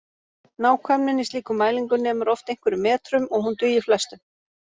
Nákvæmnin í slíkum mælingum nemur oft einhverjum metrum og hún dugir flestum.